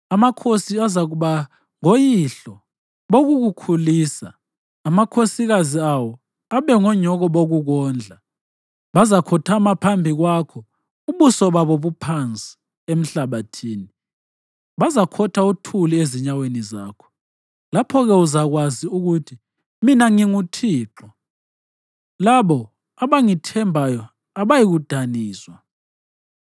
Amakhosi azakuba ngoyihlo bokukukhulisa, amakhosikazi awo abe ngonyoko bokukondla. Bazakhothama phambi kwakho ubuso babo buphansi, emhlabathini, bazakhotha uthuli ezinyaweni zakho. Lapho-ke uzakwazi ukuthi mina nginguThixo; labo abangithembayo abayikudaniswa.”